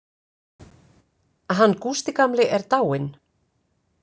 Hann Gústi gamli er dáinn.